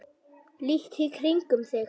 líttu í kringum þig